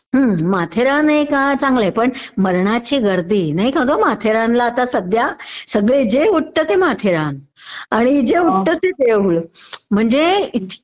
हं माथेरानहेका चांगलंय पण मरणाची गर्दी नाही का ग माथेरान ला आता सध्या.सगळे जे उठत ते माथेरान आणि जे उठत ते देऊळ म्हणजे